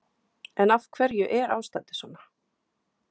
En af hverju er ástandið svona?